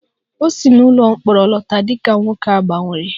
O si n'ụlọ mkpọrọ lọta dị ka nwoke a gbanwere